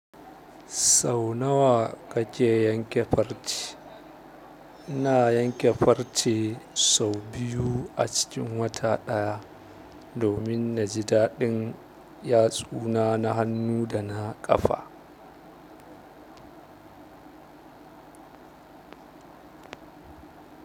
Sau nawa kake yanke farce? Ina yanke farce sau biyu a cikin wata ɗaya, domin naji daɗin yatsuna na hannu da na ƙafa.